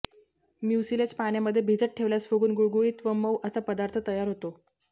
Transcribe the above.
mucilage पाण्यामध्ये भिजत ठेवल्यास फुगुन गुळगुळीत व मऊ असा पदार्थ तयार होतो